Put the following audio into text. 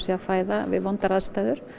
að fæða við vondar aðstæður